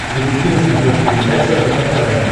запусти на смотрешке передачу рбк тв